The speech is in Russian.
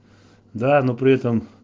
да но при этом